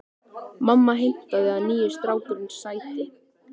Mamma heimtaði að nýi strákurinn sæti.